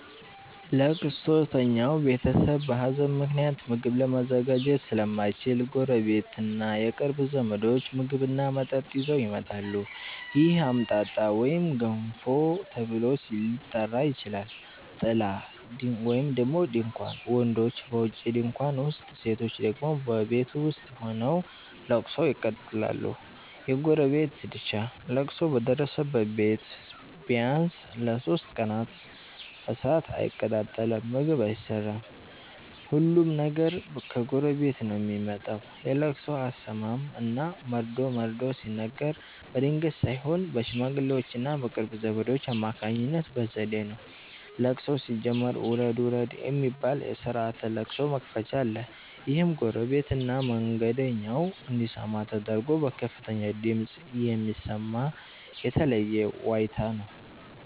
ለቅሶተኛው ቤተሰብ በሀዘን ምክንያት ምግብ ለማዘጋጀት ስለማይችል፣ ጎረቤትና የቅርብ ዘመዶች ምግብና መጠጥ ይዘው ይመጣሉ። ይህ "አምጣጣ" ወይም "ገንፎ" ተብሎ ሊጠራ ይችላል። ጥላ (ድንኳን): ወንዶች በውጪ ድንኳን ውስጥ፣ ሴቶች ደግሞ በቤት ውስጥ ሆነው ለቅሶውን ይቀጥላሉ። የጎረቤት ድርሻ: ለቅሶ በደረሰበት ቤት ቢያንስ ለሦስት ቀናት እሳት አይቀጣጠልም (ምግብ አይሰራም)፤ ሁሉም ነገር ከጎረቤት ነው የሚመጣው። የለቅሶ አሰማም እና መርዶ መርዶ ሲነገር በድንገት ሳይሆን በሽማግሌዎችና በቅርብ ዘመዶች አማካኝነት በዘዴ ነው። ለቅሶው ሲጀመር "ውረድ ውረድ" የሚባል የስርዓተ ለቅሶ መክፈቻ አለ። ይህም ጎረቤትና መንገደኛው እንዲሰማ ተደርጎ በከፍተኛ ድምፅ የሚሰማ የተለየ ዋይታ ነው።